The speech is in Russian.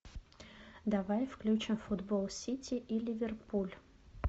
давай включим футбол сити и ливерпуль